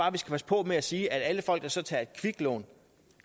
at vi skal passe på med at sige at alle folk der så tager et kviklån